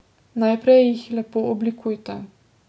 Najprej jih lepo oblikujte.